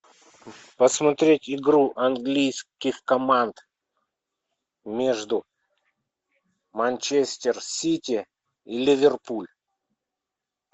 посмотреть игру английских команд между манчестер сити ливерпуль